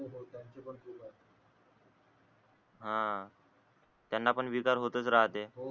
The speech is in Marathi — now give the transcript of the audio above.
हा त्याना पण विकार होतच राहते हो